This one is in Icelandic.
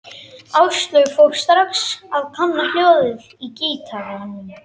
Áslaug fór strax að kanna hljóðið í gítarnum.